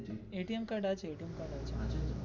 card আছে card আছে.